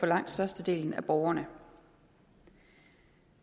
langt størstedelen af borgerne